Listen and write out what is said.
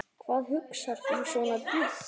Hvað hugsar þú svona djúpt?